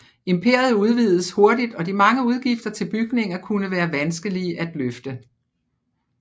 Imperiet udvidedes hurtigt og de mange udgifter til bygninger kunne være vanskelige at løfte